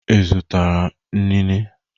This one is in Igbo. Ị zụtara inine?